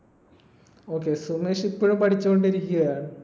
Okay Sumesh ഇപ്പഴും പഠിച്ചുകൊണ്ടിരിക്യാ